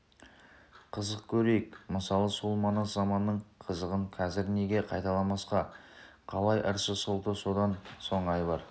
қызық көрейік мысалы сол манас заманының қызығын қазір неге қайталамасқа қалай ыршы солты содан соң айбар